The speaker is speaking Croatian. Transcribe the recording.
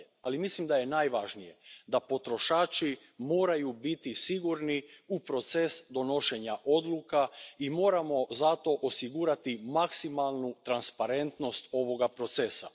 Ali mislim da je najvažnije da potrošači moraju biti sigurni u proces donošenja odluka i moramo zato osigurati maksimalnu transparentnost ovoga procesa.